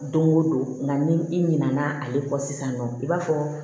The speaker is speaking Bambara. Don o don nga ni i ɲinɛna ale kɔ sisan nɔ i b'a fɔ